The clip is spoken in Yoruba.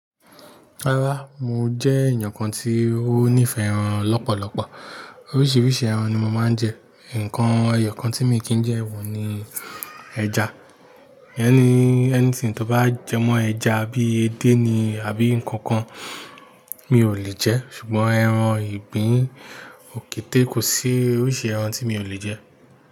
Rárá, mo jẹ́ èèyàn kan tí ó nífẹ̀ẹ́ ẹran lọ́pọ̀lọpọ̀. Oríṣiríṣi ẹran ni mo máa ń jẹ. Nǹkan ẹyọ kan tí míì kì í jẹ wò ni ẹja. Anything tó bá jẹ mọ́ ẹja bíi edé ni àbí nǹkan kan, mi ò lè jẹ́. Ṣùgbọ́n ẹran ìgbín, òkété, kò sí oríṣi ẹran tí mi ò lè jẹ́